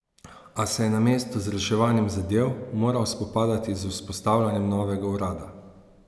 A se je namesto z reševanjem zadev moral spopadati z vzpostavitvijo novega urada.